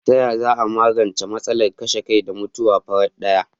Taya za a magance matsalar kashe kai da mutuwar farat daya?